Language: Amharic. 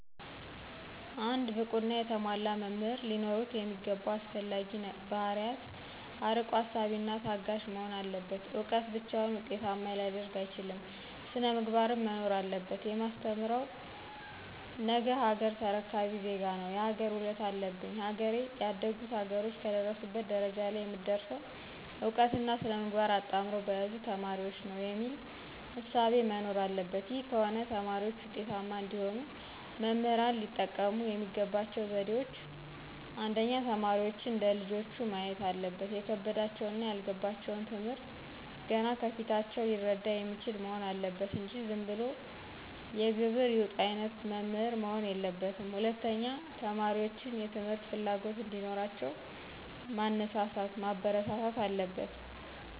አንድ ብቁና የተሟላ መምህር ሊኖሩት የሚገባው አስፈላጊ ባህርያት አርቆ አሳቢና ታጋሽ መሆን አለበት እውቀት ብቻውን ዉጤታማ ሊያደርግ አይችልም ሥነ-ምግባርም መኖር አለበት። የማስተምረው ነገሀገር ተረካቢ ዜጋ ነው የሀገር ውለታ አለብኝ ሀገሬ ያደጉት ሀገሮች ከደረሱበት ደረጃ ለይ የምትደርሰው እውቀትና ሥነ-ምግባር አጣምረው በያዙ ተማሪዎች ነው። የሚል እሳቤ መኖር አለበት ይህ ከሆነ ተማሪዎች ውጤታማ እንዲሆኑ መምህራን ሊጠቀሙ የሚገባቸው ዘዴዎች :1. ተማሪዎችን እንደ ልጆቹ ማየት አለበት የከበዳቸውንና ያልገባቸውን ትምህርት ገና ከፊታቸው ሊረዳ የሚችል መሆን አለበት እንጂ ዝንብሎ የግብር ይውጣ አይነት መምህር መሆን የለበትም። 2. ተማሪዎችን የትምህርት ፍላጎት እዲኖራቸው ማነሳሳት ማበረታታት አለበት።